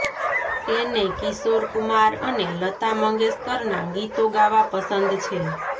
તેને કિશોર કુમાર અને લતા મંગેશકરના ગીતો ગાવા પસંદ છે